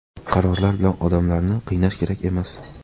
Qarorlar bilan odamlarni qiynash kerak emas.